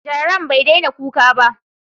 Gyaren bai daina kuka ba.